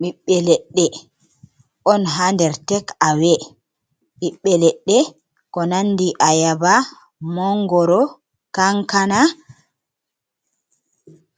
Biɓbe leɗɗe on ha nɗer tekawe. Biɓbe leɗɗe ko nanɗi ayaba, mongoro, kankana